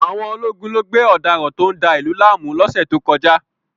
Àwọn ológun lo gbé ọ̀daràn tó ń da ìlú láàmú lọ́sẹ̀ tó kọjá